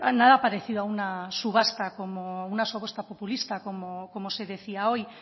nada parecido a una subasta como una subasta populista como se decía hoy